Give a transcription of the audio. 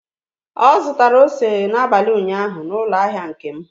Ọ zụtara ose n'abalị ụnyaahụ n'ụlọ ahịa Nkem.